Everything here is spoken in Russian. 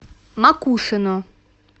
макушино